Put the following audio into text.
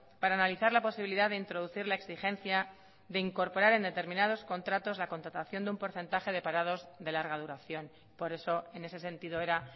para analizar la posibilidad de introducir la exigencia de incorporar en determinados contratos la contratación de un porcentaje de parados de larga duración por eso en ese sentido era